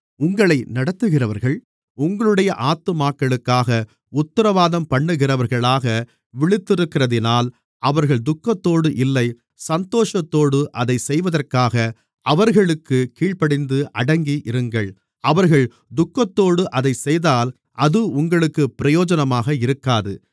உங்களை நடத்துகிறவர்கள் உங்களுடைய ஆத்துமாக்களுக்காக உத்திரவாதம் பண்ணுகிறவர்களாக விழித்திருக்கிறதினால் அவர்கள் துக்கத்தோடு இல்லை சந்தோஷத்தோடு அதைச் செய்வதற்காக அவர்களுக்குக் கீழ்ப்படிந்து அடங்கி இருங்கள் அவர்கள் துக்கத்தோடு அதைச்செய்தால் அது உங்களுக்குப் பிரயோஜனமாக இருக்காது